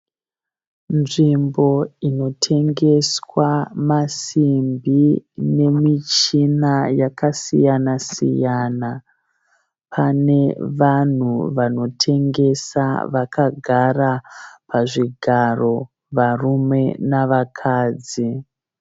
Nzvimbo inotengeswa masimbi nemishina yakasiyana-siyana. Panevanhu vanotengesa vakagara pazvigaro varume navakadzi.